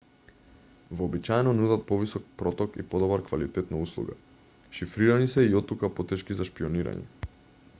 вообичаено нудат повисок проток и подобар квалитет на услуга. шифрирани се и оттука потешки за шпиoнирање